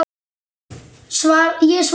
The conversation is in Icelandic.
Ég svaraði honum ekki.